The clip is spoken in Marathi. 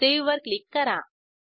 सावे वर क्लिक करा